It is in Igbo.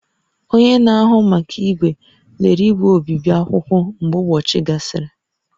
Onye na-ahụ maka igwe, lelee igwe obibi akwụkwọ mgbe ụbọchị gasịrị